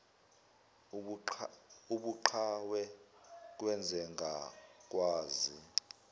ubuqhawe kwenze ngakwazi